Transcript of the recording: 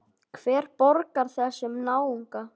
Hver borgar þessum náunga?